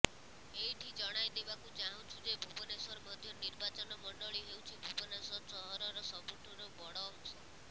ଏଇଠି ଜଣାଇଦେବାକୁ ଚାହୁଁଛୁ ଯେ ଭୁବନେଶ୍ୱର ମଧ୍ୟ ନିର୍ବାଚନ ମଣ୍ଡଳୀ ହେଉଛି ଭୁବନେଶ୍ୱର ସହରର ସବୁଠାରୁ ବଡ଼ ଅଂଶ